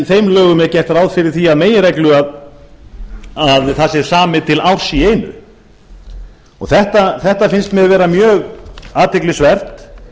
þeim lögum er gert ráð fyrir því að meginreglu að það sé samið til árs í einu þetta finnst mér vera mjög athyglisvert